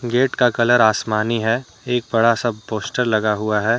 Gate का colour आसमानी है एक बड़ा सा पोस्टर लगा हुआ है।